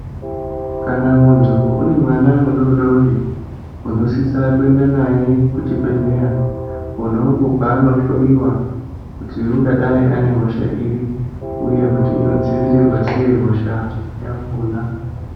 Kana muntu une mwana mudodori , unosisa kuenda naye kuchibhedhleya, kwona uko kwaanohloiwa, kuti ungadai ane hosha iri, uye kuti inodzivirirwa sei hosha yakhona.